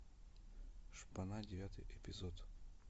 шпана девятый эпизод